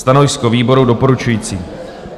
Stanovisko výboru: doporučující.